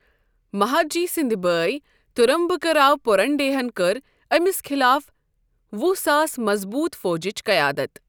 مہادجی سٕندۍ بٲے ترمبکراؤ پوٗرنڈرے ہن کٔر أمِس خِلاف وُہ ساس مضبوٗط فوجٕچ قیادت۔